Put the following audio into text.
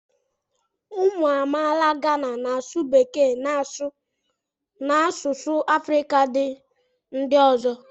ụmụ amaala Gana na-asụ Bekee na asụsụ Afrịka ndị ọzọ